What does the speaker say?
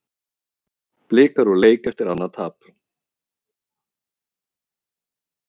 Blikar úr leik eftir annað tap